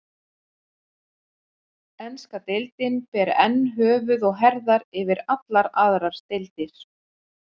Enska deildin ber enn höfuð og herðar yfir allar aðrar deildir.